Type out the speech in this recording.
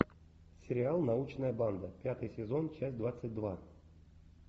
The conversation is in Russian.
сериал научная банда пятый сезон часть двадцать два